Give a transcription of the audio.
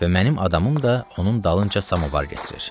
Və mənim adamım da onun dalınca samovar gətirir.